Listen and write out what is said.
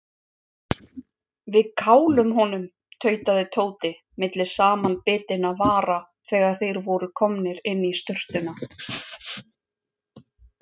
Við kálum honum tautaði Tóti milli samanbitinna vara þegar þeir voru komnir inn í sturtuna.